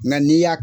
Nga n'i y'a